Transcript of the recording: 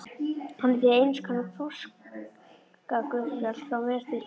Hann er því einskonar páskaguðspjall frá mér til þín.